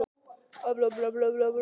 eða Nei?